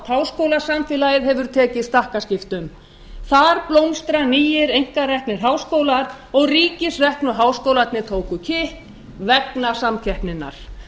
háskólasamfélagið hefur tekið stakkaskiptum þar blómstra nýir einkareknir háskólar og ríkisreknu háskólarnir tóku kipp vegna samkeppninnar